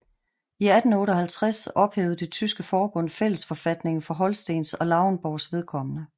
I 1858 ophævede det tyske forbund fællesforfatningen for Holstens og Lauenborgs vedkommende